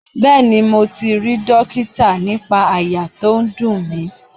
Bẹẹni, mo ti rí dókítà nípa àyà tó ń dùn mí.